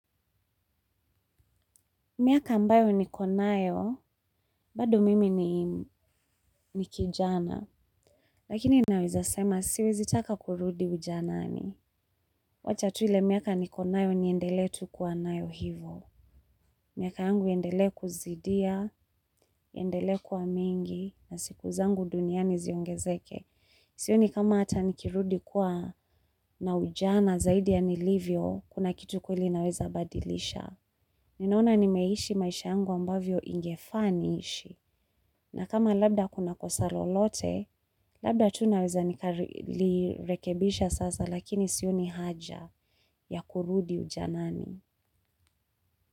Miaka ambayo niko nayo, bado mimi ni kijana, lakini naweza sema siwezitaka kurudi ujanaani. Wacha tuile miaka niko nayo niendele tu kuwa nayo hivo. Miaka yangu yendele kuzidia, yendele kuwa mengi, na siku zangu duniani ziongezeke. Siyoni kama hata nikirudi kuwa na ujana zaidi ya nilivyo, kuna kitu kueli naweza badilisha. Ninaona nimeishi maisha yangu ambavyo ingefa niishi. Na kama labda kuna kosa lolote, labda tunaweza nikali rekebisha sasa lakini sioni haja ya kurudi ujanani.